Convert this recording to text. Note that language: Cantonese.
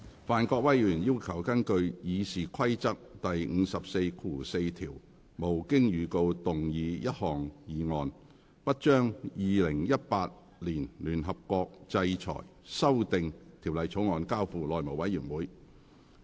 范國威議員要求根據《議事規則》第544條，無經預告動議一項議案，不將《2018年聯合國制裁條例草案》交付內務委員會處理。